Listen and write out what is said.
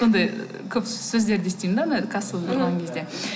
сондай көп сөздерді естимін де мына кассаға барған кезде